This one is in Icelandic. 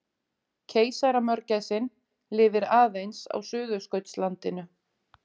Keisaramörgæsin lifir aðeins á Suðurskautslandinu.